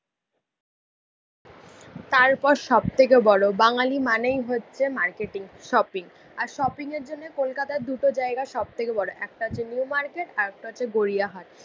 তারপর সব থেকে বড়ো বাঙালি মানেই হচ্ছে মার্কেটিং শপিং। আর শপিংয়ের জন্য কলকাতার দুটো জায়গা সবথেকে বড়ো। একটা হচ্ছে নিউ মার্কেট আরেকটা হচ্ছে গড়িয়াহাট।